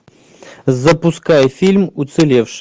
запускай фильм уцелевший